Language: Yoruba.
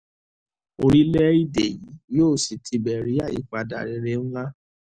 orílẹ̀-èdè yìí yóò sì tibẹ̀ rí àyípadà rere ńlá